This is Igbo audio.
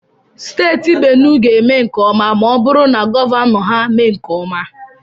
Steeti Benuwe ga-eme nke ọma ma ọ bụrụ na gọvanọ ha mee nke ọma.